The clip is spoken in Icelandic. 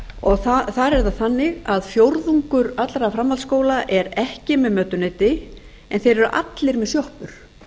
framhaldsskóla þar er það þannig að fjórðungur allra framhaldsskóla er ekki með mötuneyti en þeir eru allir með sjoppur